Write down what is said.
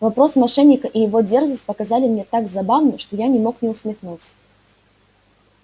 вопрос мошенника и его дерзость показались мне так забавны что я не мог не усмехнуться